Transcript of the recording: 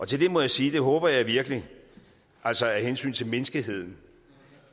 til det må jeg sige det håber jeg virkelig altså af hensyn til menneskeheden